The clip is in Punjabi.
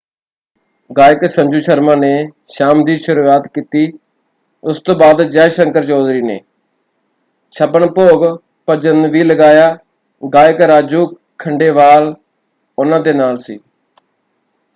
ਗਾਇਕ ਸੰਜੂ ਸ਼ਰਮਾ ਨੇ ਸ਼ਾਮ ਦੀ ਸ਼ੁਰੂਆਤ ਕੀਤੀ ਉਸ ਤੋਂ ਬਾਅਦ ਜੈ ਸ਼ੰਕਰ ਚੌਧਰੀ ਨੇ। ਛੱਪਣ ਭੋਗ ਭੱਜਣ ਵੀ ਲਗਾਇਆ। ਗਾਇਕ ਰਾਜੂ ਖੰਡੇਵਾਲ ਉਨ੍ਹਾਂ ਦੇ ਨਾਲ ਸੀ।